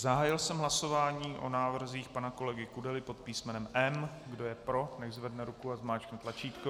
Zahájil jsem hlasování o návrzích pana kolegy Kudely pod písmenem M. Kdo je pro, nechť zvedne ruku a zmáčkne tlačítko.